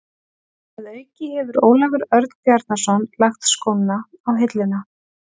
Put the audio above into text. Að auki hefur Ólafur Örn Bjarnason lagt skóna á hilluna.